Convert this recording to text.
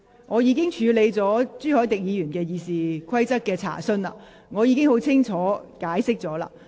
我已處理了朱凱廸議員有關《議事規則》的問題，亦已作出清楚解釋。